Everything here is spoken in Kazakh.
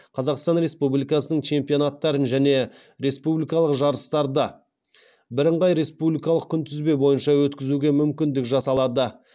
қазақстан республикасының чемпионаттарын және республикалық жарыстарды өткізуге мүмкіндік жасалады